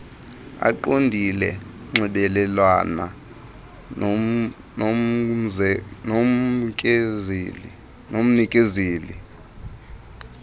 eqondile nxibelelana nomnikezeli